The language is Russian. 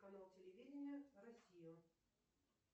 канал телевидения россию